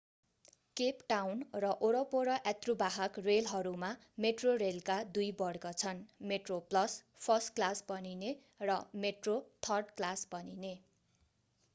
Cape Town र वरपर यात्रुवाहक रेलहरूमा मेट्रोरेलका दुई वर्ग छन्: मेट्रोप्लस फर्स्ट क्लास भनिने र मेट्रो थर्ड क्लास भनिने।